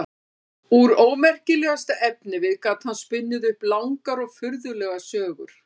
Úr ómerkilegasta efnivið gat hann spunnið upp langar og furðulegar sögur.